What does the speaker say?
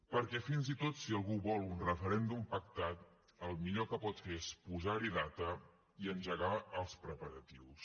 perquè fins i tot si algú vol un referèndum pactat el millor que pot fer és posar hi data i engegar els preparatius